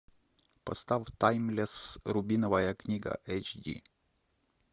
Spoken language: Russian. поставь таймлесс рубиновая книга эйч ди